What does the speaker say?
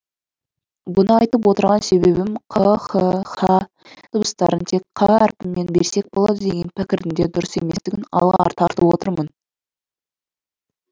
бұны айтып отырған себебім қ х һ дыбыстарын тек қ әріпімен берсек болады деген пікірдің де дұрыс еместігін алға тартып отырмын